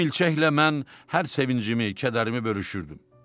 Bu milçəklə mən hər sevincimi, kədərimi bölüşürdüm.